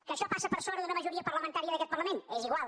que això passa per sobre d’una majoria parlamentària d’aquest parlament és igual